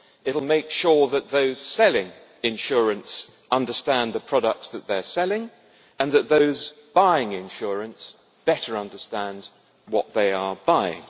it will make sure that those selling insurance understand the products that they are selling, and that those buying insurance better understand what they are buying.